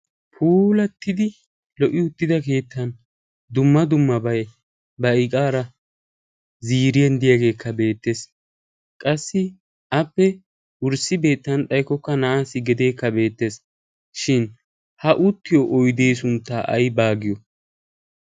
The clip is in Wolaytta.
Puulattidi lo"i uttida keettan dumma dummabay ba iqaara ziiriyan diyageekka beettees. Qassi appe wurssi beettana xaykkokka na'aassi gedeekka beettees. Ha uttiyo oydee sunttaa aybaa giyo?